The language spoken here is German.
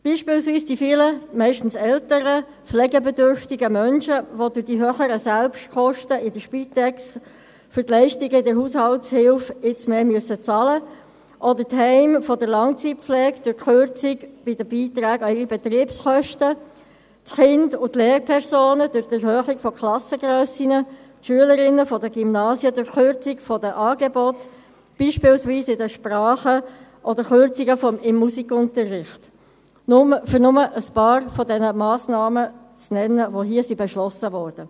Zum Beispiel die vielen meist älteren, pflegebedürftigen Menschen, welche durch die höheren Selbstkosten bei der Spitex für die Leistungen in der Haushaltshilfe mehr bezahlen müssen, oder die Heime für Langzeitpflege durch die Kürzung bei den Beiträgen an ihre Betriebskosten, die Kinder und Lehrpersonen durch die Erhöhung der Klassengrössen, die Schülerinnen der Gymnasien durch die Kürzung der Angebote, beispielsweise bei den Sprachen, oder Kürzungen im Musikunterricht, um nur ein paar Massnahmen zu nennen, die hier beschlossen wurden.